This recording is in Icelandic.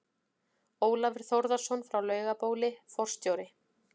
Ólafur Þórðarson frá Laugabóli, forstjóri